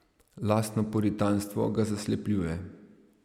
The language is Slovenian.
Lastno puritanstvo ga zaslepljuje.